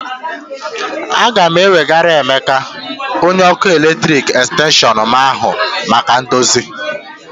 A ga m ewegara Emeka, onye ọkụ eletrik xtenshịọn m ahụ maka ndozi